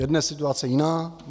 Je dnes situace jiná?